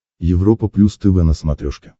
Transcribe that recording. европа плюс тв на смотрешке